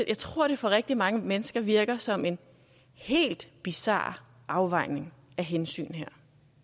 jeg tror det for rigtig mange mennesker virker som en helt bizar afvejning af hensyn her